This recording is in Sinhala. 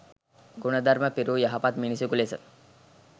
ගුණධර්ම පිරූ යහපත් මිනිසකු ලෙස